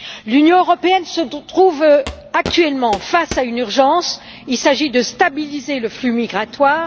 L'Union européenne se trouve actuellement face à une urgence il s'agit de stabiliser le flux migratoire.